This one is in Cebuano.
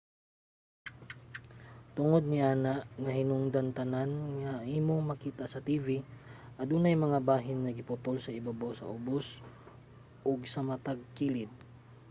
tungod niana nga hinungdan tanan nga imong makita sa tv adunay mga bahin nga giputol sa ibabaw sa ubos ug sa matag kilid